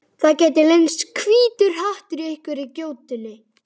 Það gæti leynst hvítur hattur í einhverri gjótunni.